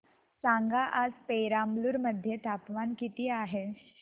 सांगा आज पेराम्बलुर मध्ये तापमान किती आहे